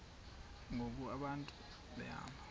ngoku abantu behamba